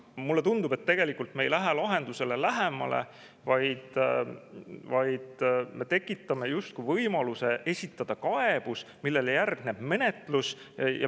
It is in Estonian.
Mulle tundub, et tegelikult me ei lähe lahendusele lähemale, vaid me tekitame võimaluse esitada kaebus, millele järgneb menetlus.